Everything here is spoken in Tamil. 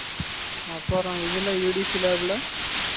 அப்பறம் இதுல EDC lab ல